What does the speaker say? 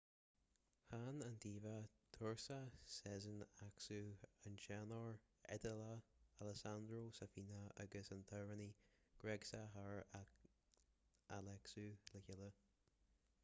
chan an diva turcach sezen aksu an teanór iodálach alessandro safina agus an t-amhránaí gréagach hair alexiou le chéile